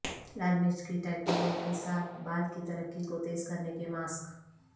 لال مرچ کی ٹائیکورور کے ساتھ بال کی ترقی کو تیز کرنے کے ماسک